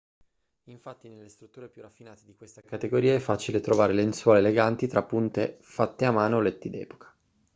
infatti nelle strutture più raffinate di questa categoria è facile trovare lenzuola eleganti trapunte fatte a mano o letti d'epoca